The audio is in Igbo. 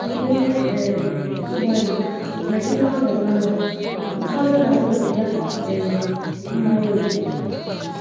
N' ihe um ịgbalị nagide ọnọdụ ahụ, ụfọdụ na - aṅụbiga um mmanya ókè